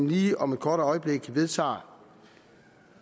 lige om et kort øjeblik vedtager